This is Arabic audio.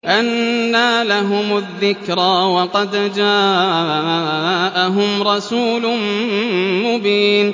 أَنَّىٰ لَهُمُ الذِّكْرَىٰ وَقَدْ جَاءَهُمْ رَسُولٌ مُّبِينٌ